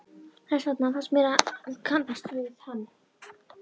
Þess vegna fannst mér ég kannast við hann.